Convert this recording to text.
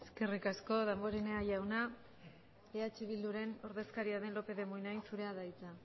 del grupo eskerrik asko damborenea jauna eh bilduren ordezkaria den lópez de munain zurea da hitza